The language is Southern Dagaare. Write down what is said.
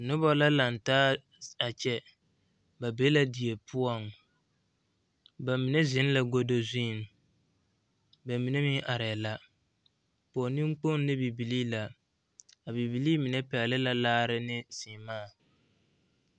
Noba la lantaa a kyɛ ba be la die poɔŋ ba mine zeŋ la godo zuriŋ ba mine meŋ arɛɛ la pɔge neŋkpoŋ ne bibilii la a bibilii mine pɛgele la laare ne seɛmaa